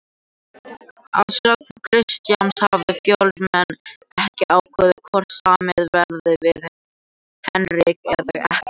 Að sögn Kristjáns hafa Fjölnismenn ekki ákveðið hvort samið verði við Henrik eða ekki.